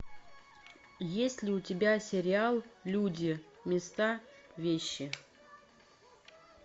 есть ли у тебя сериал люди места вещи